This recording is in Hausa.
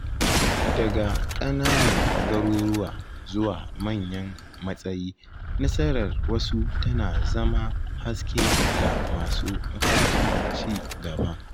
Daga ƙananan garuruwa zuwa manyan matsayi, nasarar wasu tana zama haske ga masu mafarkin ci gaba.